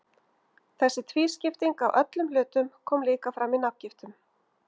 Þessi tvískipting á öllum hlutum kom líka fram í nafngiftum.